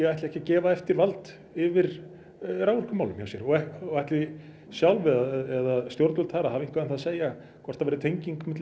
ætli ekki að gefa eftir vald yfir raforkumálum hjá sér og ætli sjálf eða stjórnvöld þar að hafa eitthvað um það að segja hvort það verði tenging milli